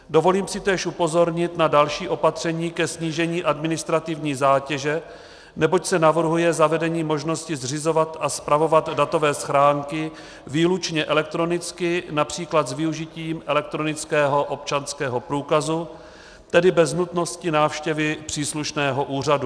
Dovolím si též upozornit na další opatření ke snížení administrativní zátěže, neboť se navrhuje zavedení možnosti zřizovat a spravovat datové schránky výlučně elektronicky, například s využitím elektronického občanského průkazu, tedy bez nutnosti návštěvy příslušného úřadu.